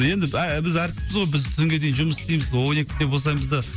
енді ә біз әртіспіз ғой біз түнге дейін жұмыс істейміз он екіде босаймыз да